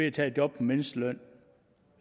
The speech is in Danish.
at tage et job til mindstelønnen